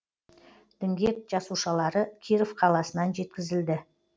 діңгек жасушалары киров қаласынан жеткізілді